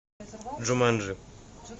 джуманджи